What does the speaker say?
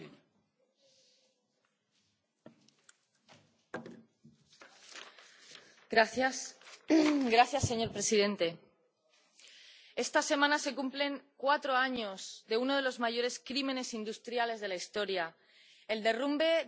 Señor presidente, esta semana se cumplen cuatro años de uno de los mayores crímenes industriales de la historia el derrumbe del edificio Rana Plaza, en Bangladés, donde se fabricaban a destajo prendas de ropa para firmas europeas.